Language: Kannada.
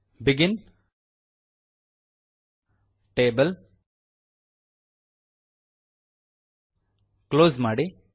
ಬೆಗಿನ್ ಟೇಬಲ್ ಕ್ಲೋಸ್ ಮಾಡಿ